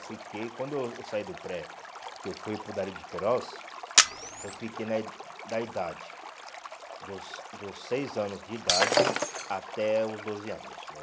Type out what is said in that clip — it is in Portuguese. Eu fiquei, quando eu eu saí do pré, que eu fui para o Darí de Queiroz, eu fiquei na ih da idade, dos dos seis anos de idade até os doze anos, né?